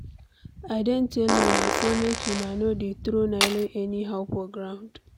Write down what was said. I don tell una say make una no dey throw nylon anyhow for ground.